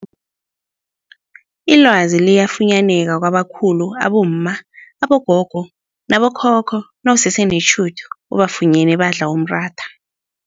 Ilwazi liyafunyaneka kwabakhulu abomma, abogogo nabo khokho nawusese netjhudu ubafunyene badla umratha.